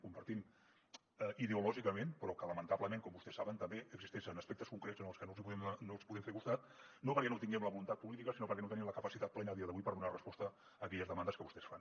compartim ideològicament però que lamentablement com vostès saben també existeixen aspectes concrets en els que no els hi podem fer costat no perquè no tinguem la voluntat política sinó perquè no tenim la capacitat plena a dia d’avui per donar resposta a aquelles demandes que vostès fan